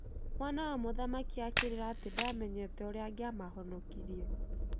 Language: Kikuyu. Mwana wa mũthamaki akĩrĩra atĩ ndamenyete ũrĩa angiamahonokirie.